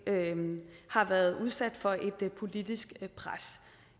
har været udsat for et politisk pres